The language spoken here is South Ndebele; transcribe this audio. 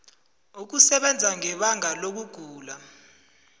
ukusebenza ngebanga lokugula